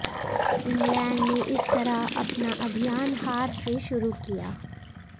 England ने इस तरह अपना अभियान हार से शुरू किया